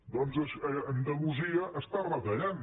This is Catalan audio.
doncs a andalusia està retallant